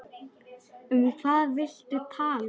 Um hvað viltu tala?